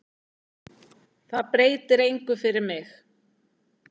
Þetta breytir engu fyrir mig.